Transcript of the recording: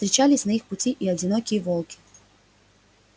встречались на их пути и одинокие волки